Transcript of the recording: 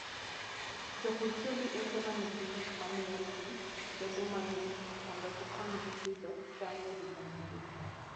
Jopur tiyo gi ute ma nigi gik ma miyo pi bedo mang'ich mondo gikonygi pidho cham e higa mangima.